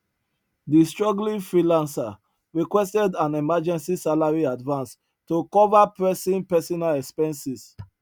di struggling freelancer requested an emergency salary advance to cover pressing personal expenses